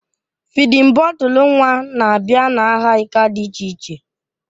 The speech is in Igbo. Fịdin bọtul nwa na-abịa n'aha ika dị iche iche